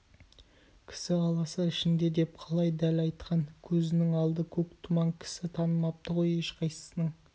кісі аласы ішінде деп қалай дәл айтқан көзінің алды көк тұман кісі танымапты ғой ешқайсының